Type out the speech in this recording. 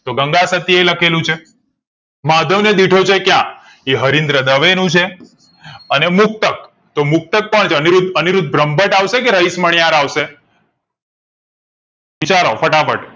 તો ગંગાસતીએ લખેલું છે માધવ ને દીઠો છે ક્યાં એ હરીન્દ્ર દવે નું છે અને મુક્તક અનિરુદ્ધ અનિરુદ્ધ બ્રહ્મભટ્ટ રહીશમણાંયર વિચારો ફટાફટ